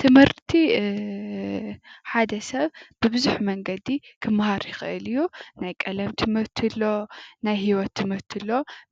ትምህርቲ ሓደ ሰብ ብቡዙሕ መንገዲ ክመሃር ይኽል እዩ። ናይ ቀለም ትምህርቲ ኣሎ ናይ ሂወት ትምህርቲ ኣሎ